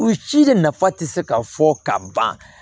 U ci de nafa tɛ se ka fɔ ka ban